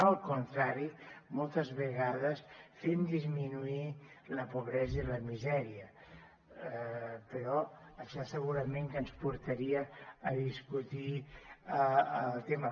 al contrari moltes vegades fent disminuir la pobresa i la misèria però això segurament que ens portaria a discutir el tema